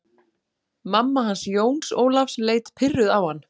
Mamma hans Jóns Ólafs leit pirruð á hann.